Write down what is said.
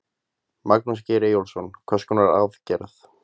Magnús Geir Eyjólfsson: Hvers konar aðgerða?